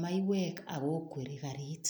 maiwek ak ko kweri karit.